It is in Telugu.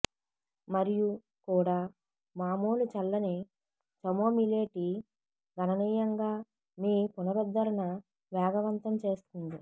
మరియు కూడా మామూలు చల్లని చమోమిలే టీ గణనీయంగా మీ పునరుద్ధరణ వేగవంతం చేస్తుంది